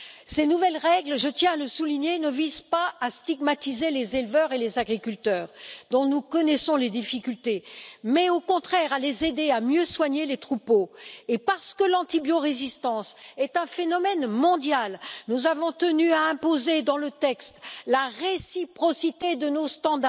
Ces nouvelles règles, je tiens à le souligner, ne visent pas à stigmatiser les éleveurs et les agriculteurs, dont nous connaissons les difficultés, mais au contraire à les aider à mieux soigner les troupeaux, et parce que l'antibiorésistance est un phénomène mondial, nous avons tenu à imposer dans le texte la réciprocité de nos normes